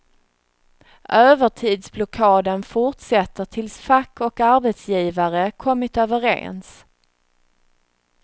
Övertidsblockaden fortsätter tills fack och arbetsgivare kommit överens.